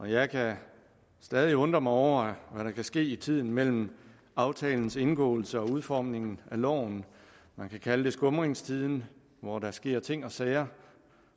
jeg kan stadig undre mig over hvad der kan ske i tiden mellem aftalens indgåelse og udformningen af loven man kan kalde det skumringstiden hvor der sker ting og sager